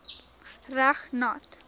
reg nat